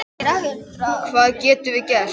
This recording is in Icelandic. Hvað getum við gert?